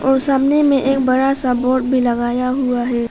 सामने में एक बड़ा सा बोर्ड भी लगाया हुआ है।